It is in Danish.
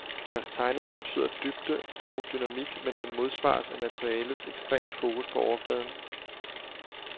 Deres tegning antyder dybde og dynamik, men den modsvares af materialets ekstreme fokus på overfladen.